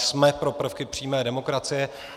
Jsme pro prvky přímé demokracie.